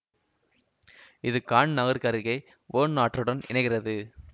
இது கான் நகருக்கருகே ஓர்ன் ஆற்றுடன் இணைகிறது